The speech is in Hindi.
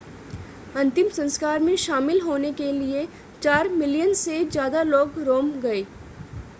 अंतिम संस्कार में शामिल होने के लिए चार मिलियन से ज़्यादा लोग रोम गए